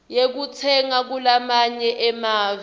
yekutsenga kulamanye emave